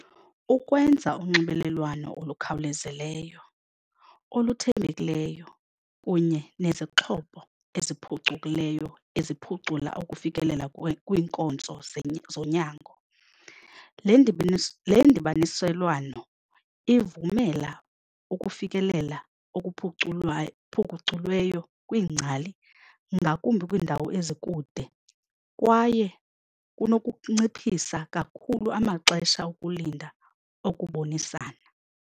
Ukwenza unxibelelwano olukhawulezileyo, oluthembekileyo kunye nezixhobo eziphucukileyo eziphucula ukufikelela kwiinkonzo zonyango. Le , le ndibaniselwano ivumela ukufikelela okuphuculayo phuculweyo kwiingcali ngakumbi kwiindawo ezikude kwaye kunokunciphisa kakhulu amaxesha okulinda okubonisana.